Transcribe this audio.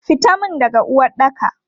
Fitan mun daga uwaɗɗaka!